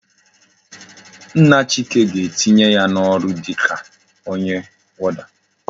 Nna chike ga etinye ya na oru dika onye warder